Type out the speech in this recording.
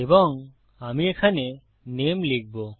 এবং আমি এখানে নামে লিখব